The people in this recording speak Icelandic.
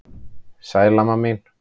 Sæl amma mín.